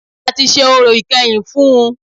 A tí ṣe orò ìkẹyìn fún ùn